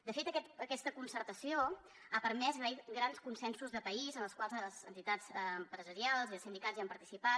de fet aquesta concertació ha permès grans consensos de país en els quals les entitats empresarials i sindicals hi han participat